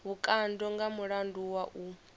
vhukando nga mulandu wa u